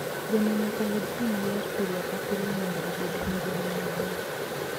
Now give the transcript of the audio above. Gweno nyaka yud pi maler pile ka pile mondo obed gi ngima maber.